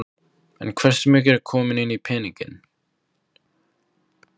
Hótunarbréf fékk ég allmörg í þá daga.